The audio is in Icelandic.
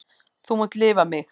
Þú munt lifa mig.